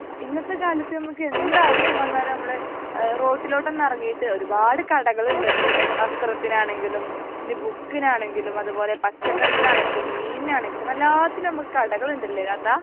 ഇന്നത്തെ കാലത്ത് നമുക്ക് എന്ത് ആവിശ്യം വന്നാലും നമ്മൾ റോട്ടിലോട്ട് ഒന്ന് ഇറങ്ങീട്ട് ഒരുപാട് കടകൾ ഉണ്ട് ഇന്ന് വസ്ത്രത്തിനാണെങ്കിലും ഇനി ബുക്കിനാണെങ്കിലും അതുപോലെ പച്ചക്കറിക്ക് ആണെങ്കിലും മീനിനാണെങ്കിലും എല്ലാത്തിനും നമുക്ക് കടകൾ ഉണ്ട് ലെ താത്ത